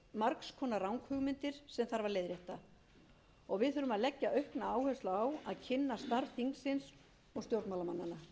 konar ranghugmyndir sem þarf að leiðrétta og við þurfum að leggja aukna áherslu á að kynna starf þingsins og stjórnmálamanna